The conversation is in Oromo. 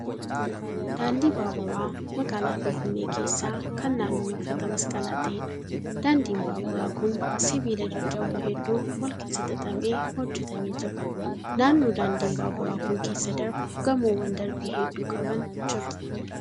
Daandii baaburaa magaalaa Finfinnee keessaa kan naannoo marfata masqalaa ta'eedha. Daandiin baaburaa kun sibiila jajjaboo hedduun wal keessa xaxamee hojjetamee jira. Naannoo daandiin baaburaa kun keessa darbu gamoowwan darbii hedduu qaban jiru.